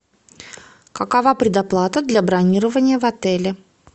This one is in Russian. какова предоплата для бронирования в отеле